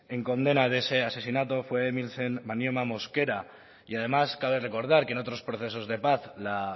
en condena de ese asesinato fue emilsen manyoma mosquera y además cabe recordar que en otros procesos de paz la